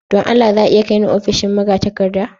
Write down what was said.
Don Allah za a iya kai ni ofishin magatakarda?